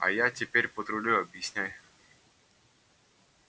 а я теперь патрулю объясняй